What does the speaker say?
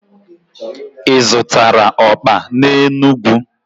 Ị zụtara ọkpa n'Enugwu?